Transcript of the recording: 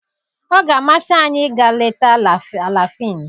Ọ ga-amasị anyị ịga leta Alafịn